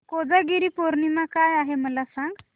कोजागिरी पौर्णिमा काय आहे मला सांग